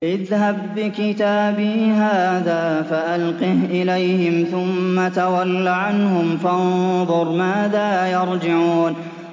اذْهَب بِّكِتَابِي هَٰذَا فَأَلْقِهْ إِلَيْهِمْ ثُمَّ تَوَلَّ عَنْهُمْ فَانظُرْ مَاذَا يَرْجِعُونَ